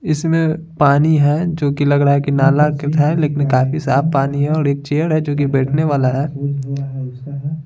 इसमें पानी है जो कि लग रहा है कि नाला है लेकिन काफी साफ पानी है और एक चेयर है जो कि बैठने वाला हैं।